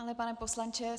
Ano, pane poslanče.